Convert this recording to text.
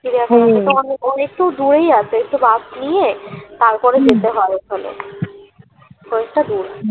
চিড়িয়াখানা একটু দূরেই আছে একটু bus নিয়ে তারপরে যেতে হয় ওখানে অনেকটা দূর